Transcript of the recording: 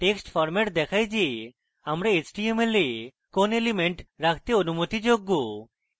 text format দেখায় যে আমরা html we কোন elements রাখতে অনুমতিযোগ্য